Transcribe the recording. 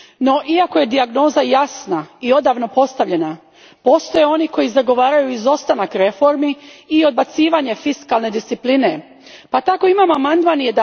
No, iako je dijagnoza jasna i odavno postavljena, postoje oni koji zagovaraju izostanak reformi i odbacivanje fiskalne discipline pa tako imamo amandman